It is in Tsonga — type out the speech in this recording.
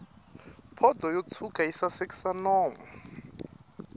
pondo yo tshwuka yi sasekisa nomu